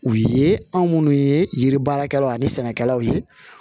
U ye anw minnu ye yiri baarakɛlaw ani sɛnɛkɛlaw ye